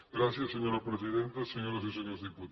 gràcies senyora presidenta senyores i senyors diputats